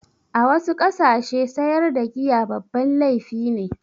A wasu ƙasashe sayar da giya babban laifi ne.